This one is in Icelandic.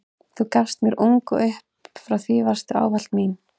Þú gafst mér ung og upp frá því varstu ávallt mín.